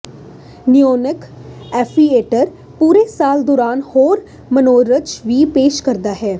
ਨਿਔਨਕ amphitheatre ਪੂਰੇ ਸਾਲ ਦੌਰਾਨ ਹੋਰ ਮਨੋਰੰਜਨ ਵੀ ਪੇਸ਼ ਕਰਦਾ ਹੈ